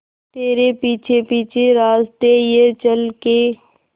तेरे पीछे पीछे रास्ते ये चल के